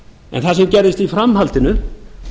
en það sem gerðist í framhaldinu